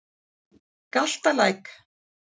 Galtalæk